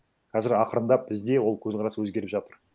қазір ақырындап бізде ол көзқарас өзгеріп жатыр